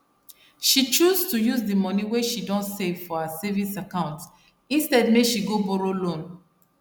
she choose to use the money wey she don save for her savings account instead make she go borrow loan